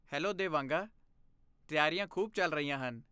Hello ਦੇਵਾਂਗਾ! ਤਿਆਰੀਆਂ ਖੂਬ ਚੱਲ ਰਹੀਆਂ ਹਨ।